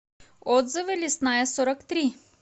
отзывы лесная сорок три